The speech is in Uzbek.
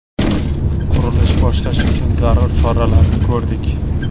Qurilish boshlash uchun zarur choralarni ko‘rdik.